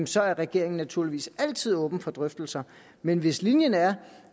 så er regeringen naturligvis altid åben for drøftelser men hvis linjen er